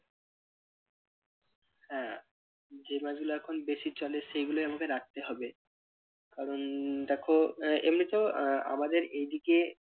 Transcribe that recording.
হ্যাঁ যে মাছগুলো এখন বেশি চলে সেগুলোই আমাকে রাখতে হবে কারণ দেখো আহ এমনিতেও আমাদের এই দিকে